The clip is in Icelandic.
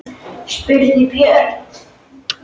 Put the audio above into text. Hvernig vitum við það?